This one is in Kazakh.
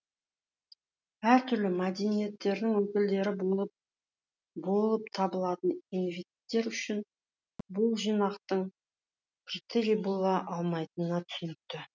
әртүрлі мәдениеттердің өкілдері болып табылатын индивидтер үшін бұл жинақтың критерий бола алмайтыны түсінікті